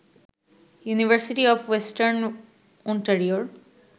university of western ওন্টারিওর